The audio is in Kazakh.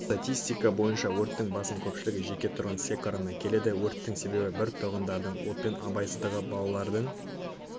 статистика бойынша өрттің басым көпшілігі жеке тұрғын секорына келеді өрттердің себебі бір тұрғындардың отпен абайсыздығы балалардың